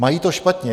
Mají to špatně.